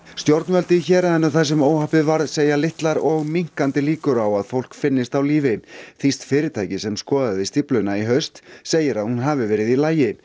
stjórnvöld í héraðinu þar sem óhappið varð segja litlar og minnkandi líkur á að fólk finnist á lífi þýskt fyrirtæki sem skoðaði stífluna í haust segir að hún hafi verið í lagi